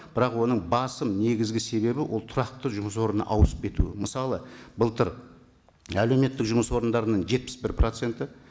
бірақ оның басым негізгі себебі ол тұрақты жұмыс орнына ауысып кетуі мысалы былтыр әлеуметтік жұмыс орындарының жетпіс бір проценті